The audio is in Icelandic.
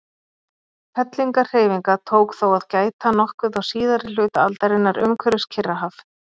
Fellingahreyfinga tók þó að gæta nokkuð á síðari hluta aldarinnar umhverfis Kyrrahaf.